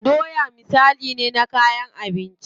Doya misali ne na kayan abinci.